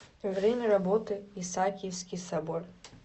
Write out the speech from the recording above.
время работы исаакиевский собор